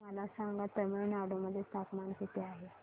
मला सांगा तमिळनाडू मध्ये तापमान किती आहे